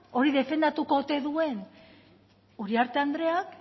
hori defendatuko ote duen uriarte andreak